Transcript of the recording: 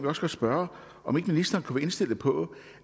også godt spørge om ikke ministeren kunne være indstillet på